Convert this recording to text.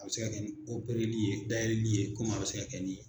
A bɛ se ka kɛ ni li ye, dayɛlɛli ye komi a bɛ se ka kɛ nii